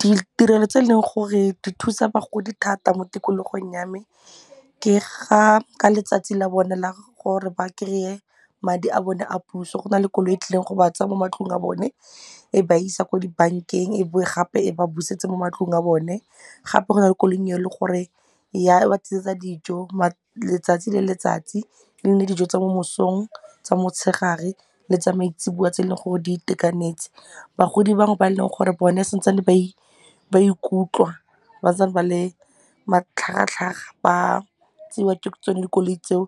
Ditirelo tse e leng gore di thusa bagodi thata mo tikologong ya me ke ga ka letsatsi la bone la gore ba kry-e madi a bone a puso go na le koloi e tlileng go ba tsaya mo matlong a bone e ba isa ko di bank-eng e boe gape e ba busetse mo matlong a bone gape go na le koloi e leng gore ya ba tlisetsa dijo letsatsi le letsatsi e nne dijo tsa mo mosong, tsa mo tshegare le tsa maitseboa tse e leng gore di itekanetse. Bagodi bangwe ba e leng gore bone santsane ba ba ikutlwa, ba santsane ba le matlhagatlhaga ba tseiwa ke tsone dikoloi tseo